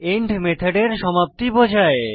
and মেথডের সমাপ্তি বোঝায়